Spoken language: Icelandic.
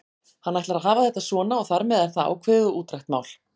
Hann ætlar að hafa þetta svona og þar með er það ákveðið og útrætt mál.